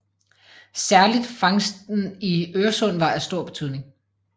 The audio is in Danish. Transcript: Særligt fangsten i Øresund var af stor betydning